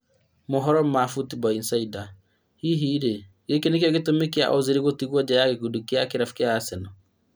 Mohoro ma Football Insider, hihi rĩ gĩkĩ nĩkĩo gĩtũmi kĩa Ozil gũtigwo nja ya gĩkundi kĩa kĩrabu kĩa Arsenal?